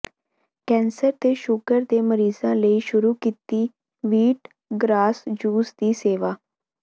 cancer ਤੇ sugar ਦੇ ਮਰੀਜਾਂ ਲਈ ਸ਼ੁਰੂ ਕੀਤੀ ਵੀਟ ਗਰਾਸ ਜੂਸ ਦੀ ਸੇਵਾ